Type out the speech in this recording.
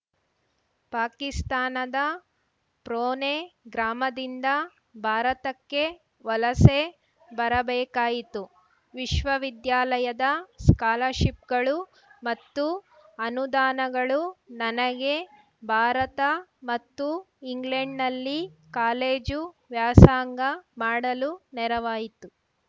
ಪಾಕಿಸ್ತಾನದ ಪ್ರೊನೆ ಗ್ರಾಮದಿಂದ ಭಾರತಕ್ಕೆ ವಲಸೆ ಬರಬೇಕಾಯಿತು ವಿಶ್ವವಿದ್ಯಾಲಯದ ಸ್ಕಾಲರ್‌ಶಿಪ್‌ಗಳು ಮತ್ತು ಅನುದಾನಗಳು ನನಗೆ ಭಾರತ ಮತ್ತು ಇಂಗ್ಲೆಂಡ್‌ನಲ್ಲಿ ಕಾಲೇಜು ವ್ಯಾಸಂಗ ಮಾಡಲು ನೆರವಾಯಿತು